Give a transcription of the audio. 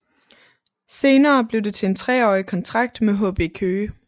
Senere blev det til en treårig kontrakt med HB Køge